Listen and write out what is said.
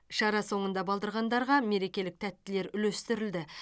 шара соңында балдырғандарға мерекелік тәттілер үлестірілді